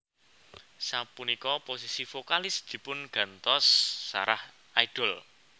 Sapunika posisi vokalis dipungantos Sarah Idol